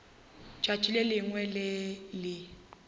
tšatši le lengwe le le